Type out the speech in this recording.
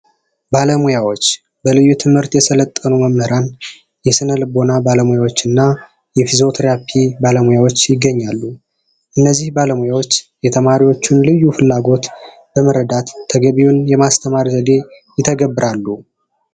ባለሙያዎች በልዩ ትምህርት የሰለጠኑ መምህራን፣ የስነ ልቦና ባለሙያዎች እና የፊዚዮ ቴራፒ ባለሙያዎች ይገኛሉ። እነዚህ ባለሙያዎች የተማሪውን ልዩ ፍላጎት በመረዳት ተገቢውን የማስተማር ዘዴ ይተገብራሉ።